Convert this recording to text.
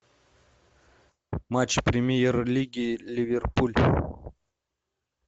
матч премьер лиги ливерпуль